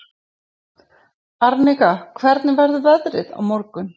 Arnika, hvernig verður veðrið á morgun?